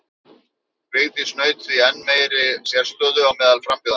Vigdís naut því enn meiri sérstöðu á meðal frambjóðenda.